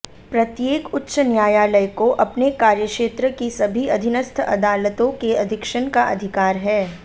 प्रत्येक उच्च न्यायालय को अपने कार्यक्षेत्र की सभी अधीनस्थ अदालतों के अधीक्षण का अधिकार है